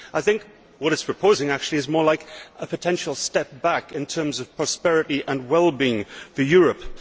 I think what it is proposing is actually more like a potential step back in terms of prosperity and well being for Europe.